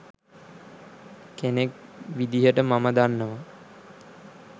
කෙනෙක් විදිහට මම දන්නවා